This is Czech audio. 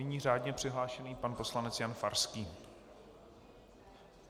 Nyní řádně přihlášený pan poslanec Jan Farský.